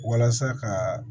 Walasa ka